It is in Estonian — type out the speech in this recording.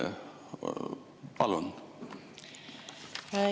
Palun!